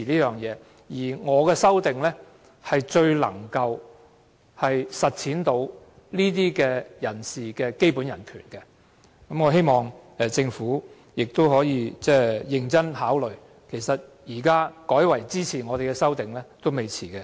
再者，我的修正案最能實踐這些人士的基本人權，我希望政府認真考慮，現在改為支持我們的修正案仍為時未晚。